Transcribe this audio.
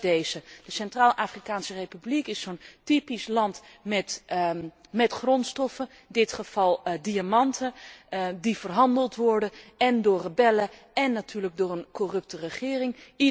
En dat is deze de Centraal Afrikaanse Republiek is zo'n typisch land met grondstoffen, in dit geval diamanten, die verhandeld worden én door rebellen én natuurlijk door een corrupte regering.